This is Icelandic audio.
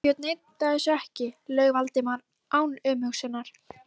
Sveinbjörn neitaði þessu ekki- laug Valdimar án umhugsunar.